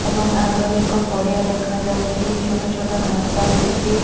ଏବଂ ଆଗରେ ଏକ ପଡିଆ ଦେଖାଯାଉଛି ଛୋଟଛୋଟ ଘାସ ହେଇଛି।